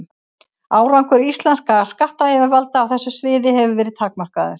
Árangur íslenskra skattyfirvalda á þessu sviði hefur verið takmarkaður.